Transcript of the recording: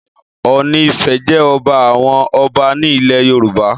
Ọọ̀ni Ifẹ̀ jẹ́ ọba àwọn ọba ní ilẹ̀ Yorùbá.